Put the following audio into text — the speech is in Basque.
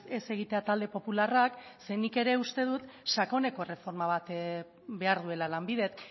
ez egitea talde popularrak ze nik ere uste dut sakoneko erreforma bat behar duela lanbidek